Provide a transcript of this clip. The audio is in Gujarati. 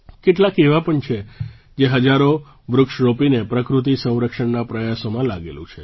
કેટલાક એવા પણ છે જે હજારો વૃક્ષ રોપીને પ્રકૃતિસંરક્ષણના પ્રયાસોમાં લાગેલું છે